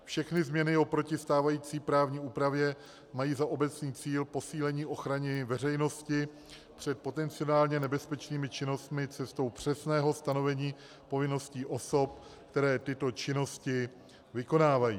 Všechny změny oproti stávající právní úpravě mají za obecný cíl posílení ochrany veřejnosti před potenciálně nebezpečnými činnostmi cestou přesného stanovení povinností osob, které tyto činnosti vykonávají.